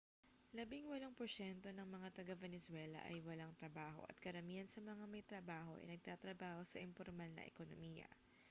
labingwalong porsyento ng mga taga-venezuela ay walang trabaho at karamihan sa mga may trabaho ay nagtatrabaho sa impormal na ekonomiya